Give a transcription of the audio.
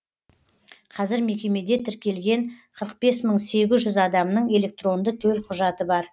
қазір мекемеде тіркелген қырық бес мың сегіз жүз адамның электронды төлқұжаты бар